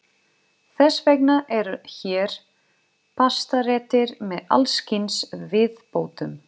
Þess vegna eru hér pastaréttir með alls kyns viðbótum.